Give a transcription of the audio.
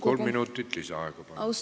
Kolm minutit lisaaega, palun!